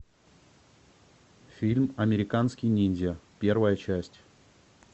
фильм американский ниндзя первая часть